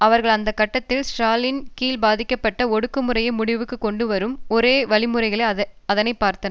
அவர்கள் அந்த கட்டத்தில் ஸ்ராலினின் கீழ் பாதிக்கப்பட்ட ஒடுக்குமுறையை முடிவுக்கு கொண்டு வரும் ஒரு வழிமுறையாக அதனை பார்த்தனர்